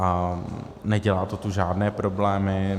A nedělá to tu žádné problémy.